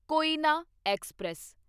Koyna express